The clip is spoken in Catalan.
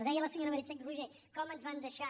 deia la senyora meritxell roigé com ens van deixar